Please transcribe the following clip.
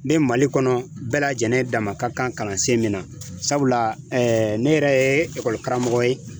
Ni Mali kɔnɔ, bɛɛ lajɛlen dama ka kan kalansen min na, sabula ne yɛrɛ ye karamɔgɔ ye.